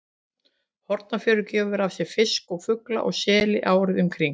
Hornafjörður gefur af sér fisk og fugl og sel árið um kring.